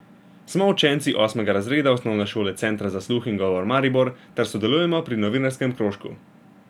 Smo učenci osmega razreda osnovne šole Centra za sluh in govor Maribor ter sodelujemo pri novinarskem krožku.